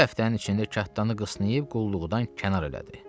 Bir həftənin içində kattanı qısyıb qulluqdan kənar elədi.